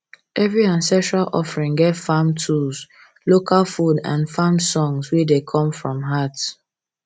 every ancestral offering get farm tools local food and farming songs wey wey come from heart